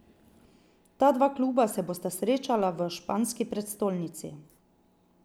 Ta dva kluba se bosta srečala v španski prestolnici.